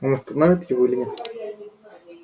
он остановит его или нет